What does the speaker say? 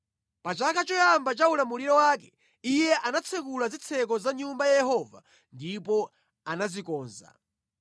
Pa chaka choyamba cha ulamuliro wake, iye anatsekula zitseko za Nyumba ya Yehova ndipo anazikonza.